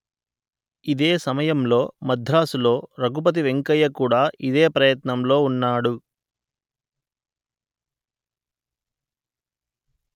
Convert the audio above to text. ఇదే సమయంలో మద్రాసులో రఘుపతి వెంకయ్య కూడా ఇదే ప్రయత్నంలో ఉన్నాడు